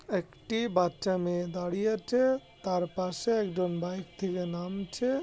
একটি বাচ্চা মেয়ে দাঁড়িয়ে আছে তার পাশে একজন বাইক থেকে নামছে ।